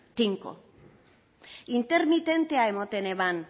tinko intermitentea ematen eban